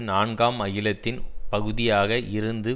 நான்காம் அகிலத்தின் பகுதியாக இருந்து